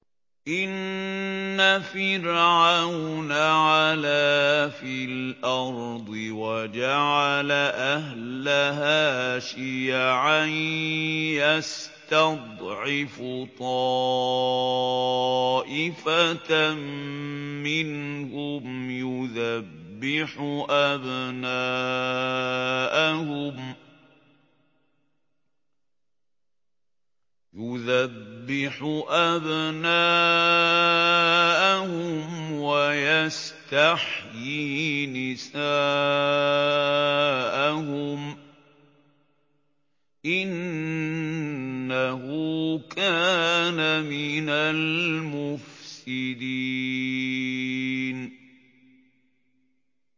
إِنَّ فِرْعَوْنَ عَلَا فِي الْأَرْضِ وَجَعَلَ أَهْلَهَا شِيَعًا يَسْتَضْعِفُ طَائِفَةً مِّنْهُمْ يُذَبِّحُ أَبْنَاءَهُمْ وَيَسْتَحْيِي نِسَاءَهُمْ ۚ إِنَّهُ كَانَ مِنَ الْمُفْسِدِينَ